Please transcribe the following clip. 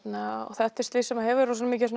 þetta er slys sem hefur mikil